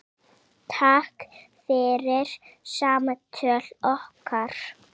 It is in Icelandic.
Takk fyrir samtöl okkar.